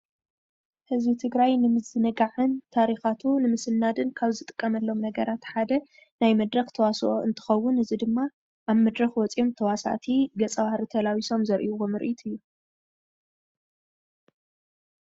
ህዝቢ ትግራይ ንምዝንጋዕን ታሪካቱ ንምስናድን ካብ ዝጥቀመሎም ነገራት ሓደ ናይ መድረክ ተዋስኦ እንትከውን እዚ ኣብ መድረክ ወፅዮም ተዋሳእቲ ገፀ - ባህሪ ተላቢሶም ዘርእይዎ ምርኢት እዩ፡፡